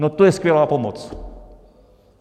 No to je skvělá pomoc!